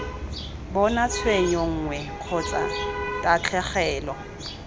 bona tshenyo nngwe kgotsa tatlhegelo